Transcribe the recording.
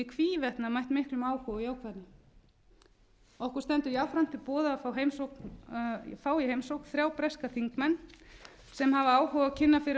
hvívetna mætt miklum áhuga og jákvæðni okkur stendur jafnframt til boða að fá í heimsókn þrjá breska þingmenn sem hafa áhuga á að kynna fyrir okkur